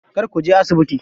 Kar kuje asibiti.